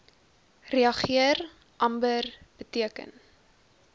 reageer amber beteken